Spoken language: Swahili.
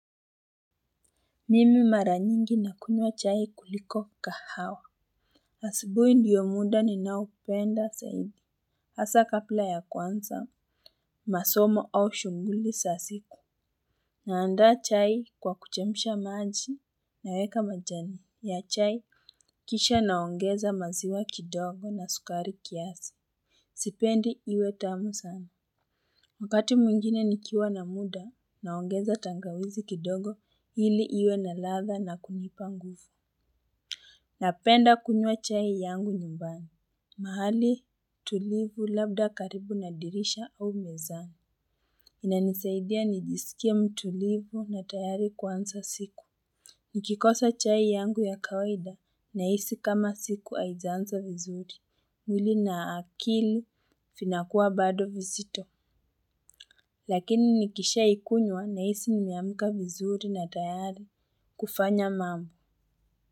Mimi mara nyingi nakunywa chai kuliko kahawa. Asubuhi ndiyo muda ninaopenda saidi hasa kapla ya kwanza masomo au shughuli sa siku. Naanda chai kwa kuchemsha maji naweka majani ya chai. Kisha naongeza maziwa kidogo na sukari kiasi sipendi iwe tamu sana. Wakati mwingine nikiwa na muda naongeza tangawizi kidogo hili iwe na ladha na kunipa nguvu. Napenda kunywa chai yangu nyumbani. Mahali tulivu labda karibu na dirisha au mezani. Inanisaidia nijisikie mtulivu na tayari kuansa siku. Nikikosa chai yangu ya kawaida nahisi kama siku haijaanza vizuri. Mwili na akili finakua bado vizito. Lakini nikisha ikunywa nahisi nimeamka vizuri na tayari kufanya mambo.